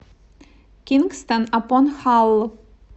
кингстон апон халл